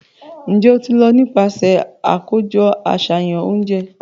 Njẹ o ti lọ nipasẹ akojọ aṣayan ounjẹ?